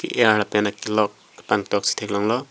aki er la pen akilok kapangtok si thek long lo.